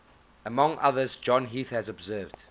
among others john heath has observed